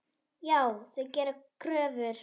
Já, þau gera kröfur.